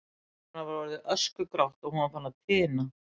Hár hennar var orðið öskugrátt og hún var farin að tina.